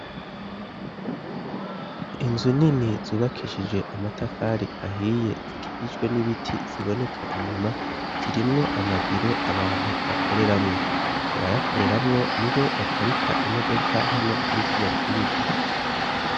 Inzu nini zubakishije amatafari ahiye zikikijwe n'ibiti ziboneka inyuma zirimwo amabiro abantu bakoreramwo. Abayakoreramwo nibo baparika imodoka hano kuri kinokibuga.